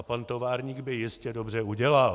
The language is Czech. A pan továrník by jistě dobře udělal.